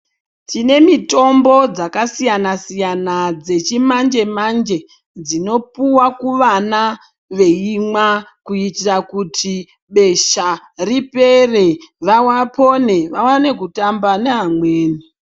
Tine mitombo dzaka siyana siyana dzechi manje manje dzino puwa ku vana veimwa kuitira kuti besha ripere vapone vawane kutamba ne amweni.